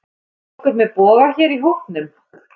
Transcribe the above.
Er nokkur með boga hér í hópnum?